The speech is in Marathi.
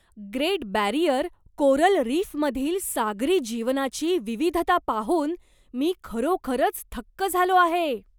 ग्रेट बॅरिअर कोरल रीफमधील सागरी जीवनाची विविधता पाहून मी खरोखरच थक्क झालो आहे.